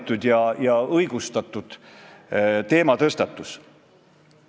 Läks kümme aastat mööda, 2011. aastal oli see tõusnud 44%-ni.